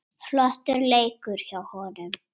Flottur leikur hjá honum.